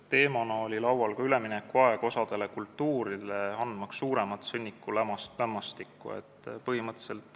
Teemana oli laual ka osale kultuuridele suuremal hulgal sõnnikulämmastiku andmise üleminekuaeg.